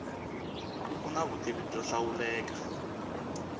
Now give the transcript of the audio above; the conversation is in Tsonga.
ku na vutivi byo hlawuleka